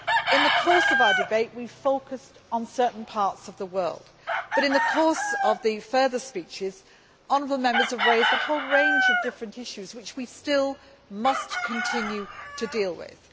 In the course of our debate, we focused on certain parts of the world, but in the course of further speeches, honourable Members have raised a whole range of different issues which we still must continue to deal with.